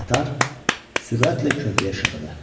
Qatar sürətlə körpüyə şığıdı.